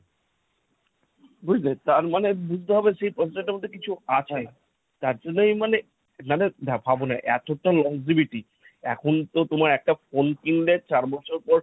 বুঝলে, তার মানে বুঝতে হবে সেই processor টার মধ্যে কিছু আছে। তার জন্যই মানে নালে ভাবনা এতটা longevity এখন তো তোমার একটা phone কিনলে চার বছর পর